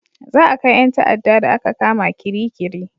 Za a kai 'yan ta'ada da a ka kama Kirikiri